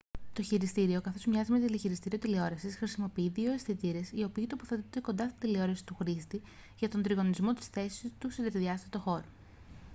το χειριστήριο καθώς μοιάζει με τηλεχειριστήριο τηλεόρασης χρησιμοποιεί δύο αισθητήρες οι οποίοι τοποθετούνται κοντά στην τηλεόραση του χρήστη για τον τριγωνισμό της θέσης του σε τρισδιάστατο χώρο